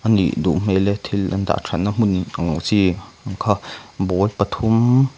a nih duh hmel e thil an dah thatna hmun ang chi kha ball pathum.